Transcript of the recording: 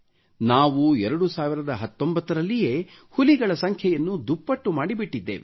ನಾವು 2019 ರಲ್ಲಿಯೇ ಹುಲಿಗಳ ಸಂಖ್ಯೆಯನ್ನು ದುಪ್ಪಟ್ಟು ಮಾಡಿ ಬಿಟ್ಟಿದ್ದೇವೆ